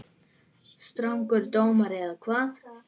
Strangur dómur eða hvað?